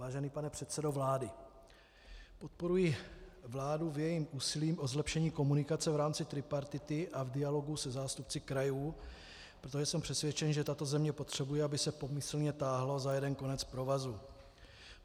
Vážený pane předsedo vlády, podporuji vládu v jejím úsilí o zlepšení komunikace v rámci tripartity a v dialogu se zástupci krajů, protože jsem přesvědčen, že tato země potřebuje, aby se pomyslně táhlo za jeden konec provazu.